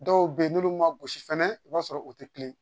Dɔw bɛ yen n'olu ma gosi fɛnɛ i b'a sɔrɔ u tɛ kelen